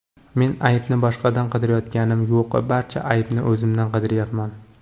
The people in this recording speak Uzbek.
Men aybni boshqadan qidirayotganim yo‘q, barcha aybni o‘zimdan qidiryapman.